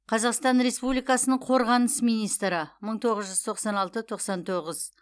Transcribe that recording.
қазақстан республикасының қорғаныс министрі мың тоғыз жүз тоқсан алты тоқсан тоғыз